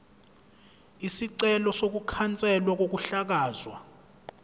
isicelo sokukhanselwa kokuhlakazwa